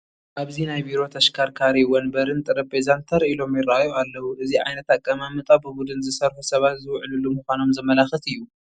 ኣብዚ ናይ ቢሮ ተሽከርካሪ ወንበርን ጠረጴዛን ተር ኢሎም ይርአዩ ኣለዉ፡፡ እዚ ዓይነት ኣቀማምጣ ብቡድን ዝሰርሑ ሰባት ዝውዕልሉ ምዃኖም ዘመላኽት እዩ፡፡